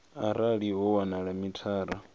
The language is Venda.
arali ho wanala uri mithara